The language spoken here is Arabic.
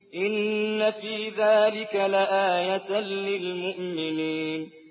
إِنَّ فِي ذَٰلِكَ لَآيَةً لِّلْمُؤْمِنِينَ